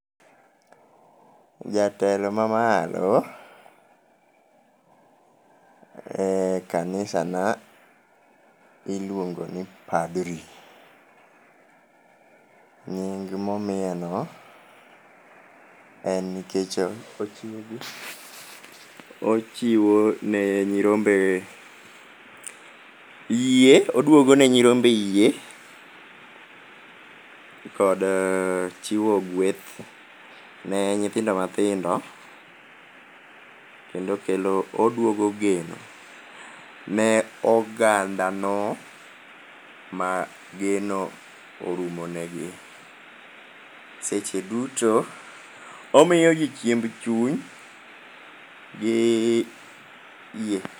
Jatelo mamalo e kanisana iluongo ni padri. Nying momiye no en nikech ochiwo ne nyirombe yie, oduogo ne nyirombe yie kod chiwo gweth ne nyithindo mathindo kendo oduogo geno ne oganda no ma geno orumo negi. Seche duto omiyogi chiemb chuny gi yie